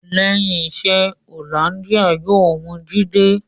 Lẹ́yìn iṣẹ́, Hollandia yóò wu Jídé